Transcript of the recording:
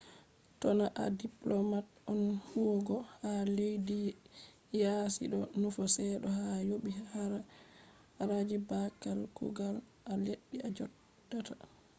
to na a diplomat on huwugo ha leddi yaasi do nufa seto ha yobi haraji babal kugal a leddi a jodata